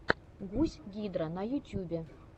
гусь гидра на ютюбе